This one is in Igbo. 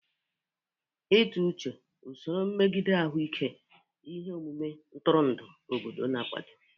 Ịtụ uche, usoro mmegide ahụike, ihe omume ntụrụndụ, obodo na-akwado.